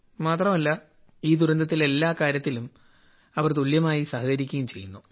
മാത്രമല്ല ഈ ദുരന്തത്തിൽ എല്ലാ കാര്യത്തിലും അവർ തുല്യമായി സഹകരിക്കുകയും ചെയ്യുന്നു